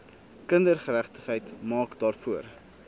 kindergeregtigheid maak daarvoor